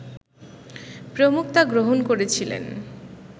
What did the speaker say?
প্রমুখ তা গ্রহণ করেছিলেন